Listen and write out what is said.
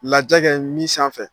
Laajɛ kɛ min sanfɛ